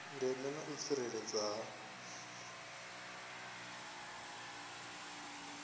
ndeme na u tsireledzea ha